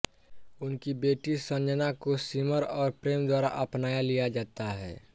उनकी बेटी संजना को सिमर और प्रेम द्वारा अपनाया लिया जाता है